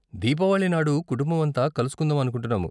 దీపావళి నాడు కుటుంబం అంతా కలుసుకుందాం అనుకుంటున్నాము.